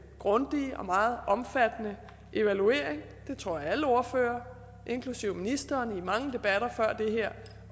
grundige og meget omfattende evaluering det tror jeg at alle ordførere inklusive ministeren i mange debatter før den her